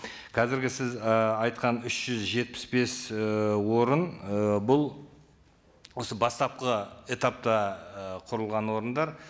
қазіргі сіз і айтқан үш жүз жетпіс бес ііі орын ы бұл осы бастапқы этапта ы құрылған орындар